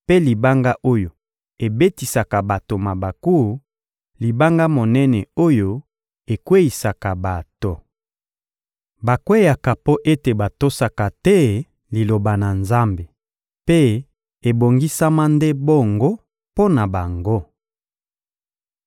mpe libanga oyo ebetisaka bato mabaku, libanga monene oyo ekweyisaka bato.» Bakweyaka mpo ete batosaka te Liloba na Nzambe; mpe ebongisama nde bongo mpo na bango.